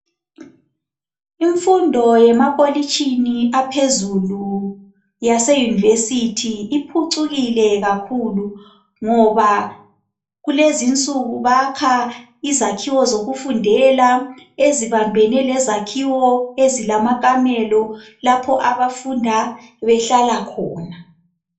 Imfundo yemakolitshini aphezulu yaseYunivesi iphucukile kakhulu ngoba kulezi insuku bakha izakhiwo zokufundela ezibambene lezakhiwo ezilamakamelo lapha abafunda behlala khona.